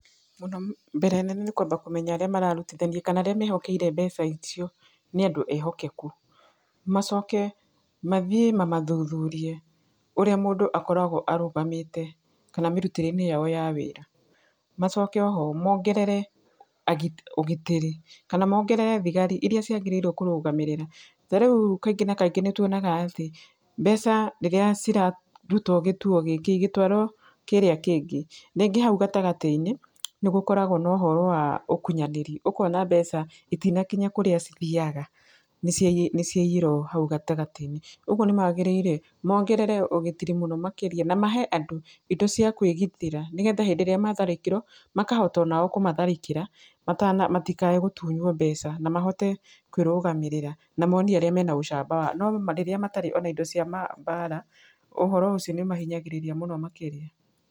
Mũno, mbere nene nĩ kwamba kũmenya arĩa mararutithania kana arĩa mehokeire mbeca icio nĩ andũ ehokeku. Macoke, mathiĩ mamathuthurie ũrĩa mũndũ akoragwo arũgamĩte, kana mĩrutĩre-inĩ yao ya wĩra. Macoke oho, mongerere agitĩri ũgitĩri. Kana mongerere thigari irĩa ciagĩrĩirwo kũrũgamĩrĩra. Ta rĩu kaingĩ na kaingĩ nĩ tuonaga atĩ, mbeca rĩrĩa cirarutwo gĩtuo gĩkĩ igĩtũarwo kĩrĩa kĩngĩ, rĩngĩ hau gatagatĩ-inĩ, nĩ gũkoragwo na ũhora wa ũkunyanĩri. Ũkona mbeca itinakinya kũrĩa cithiaga nĩ nĩ ciayĩrwo hau gatagatĩ-inĩ. Ũguo nĩ magĩrĩire, mongerere ũgitĩri mũno makĩria. Na mahe andũ indo cia kwĩgitĩra, nĩgetha hĩndĩ ĩrĩa matharĩkĩrwo, makahota ona o kũmatharĩkĩra, matikae gũtunywo mbeca. Na mahote kwĩrũgamĩrĩra. Na monie ũrĩa mena ũcamba. No rĩrĩa ona matarĩ ona indo cia mbaara, ũhoro ũcio nĩ ũmahinyagĩrĩria mũno makĩria.